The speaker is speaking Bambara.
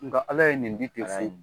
Nka ala ye nin bi